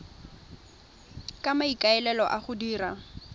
ka maikaelelo a go dira